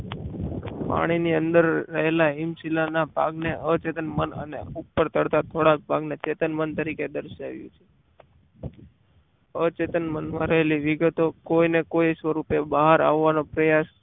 પાણીની અંદર રહેલા હિમશીલાના ભાગને અચેતન મનને ઉપર તરતા થોડા ભાગને અચેતન મન તરીકે દર્શાવવામાં આવી છે અચેતન મનમાં રહેલી વિગતો કોઈને કોઈ સ્વરૂપે બહાર આવવાનો પ્રયાસ